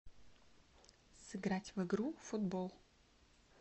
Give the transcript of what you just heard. сыграть в игру футбол